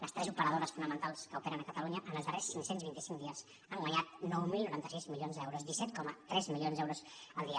les tres operadores fonamentals que operen a catalunya en els darrers cinc cents i vint cinc dies han guanyat nou mil noranta sis milions d’euros disset coma tres milions d’euros el dia